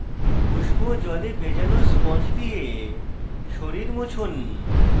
উষ্ণ জলে ভেজানো স্পঞ্জ দিয়ে শরীর মুছুন